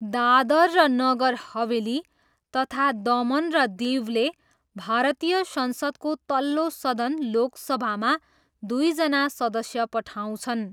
दादरा र नगर हवेली तथा दमन र दीवले भारतीय संसदको तल्लो सदन लोकसभामा दुईजना सदस्य पठाउँछन्।